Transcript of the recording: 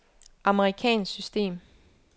amerikansk system